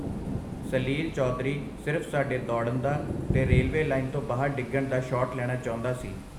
ਸਲੀਲ ਚੌਧਰੀ ਸਿਰਫ ਸਾਡੇ ਦੌੜਨ ਦਾ ਤੇ ਰੇਲਵੇ ਲਾਈਨ ਤੋਂ ਬਾਹਰ ਡਿੱਗਣ ਦਾ ਸ਼ਾਟ ਲੈਣਾ ਚਾਹੁੰਦਾ ਸੀ.